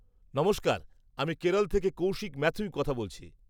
নমস্কার, আমি কেরল থেকে কৌশিক ম্যাথিউ বলছি।